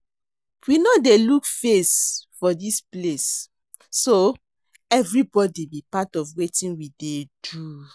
We no dey look face for dis place so everybody be part of wetin we dey do